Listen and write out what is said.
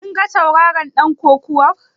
Kin ga tauraron ɗan kokawar?